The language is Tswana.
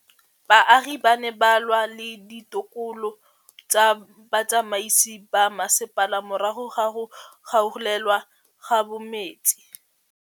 Baagi ba ne ba lwa le ditokolo tsa botsamaisi ba mmasepala morago ga go gaolelwa kabo metsi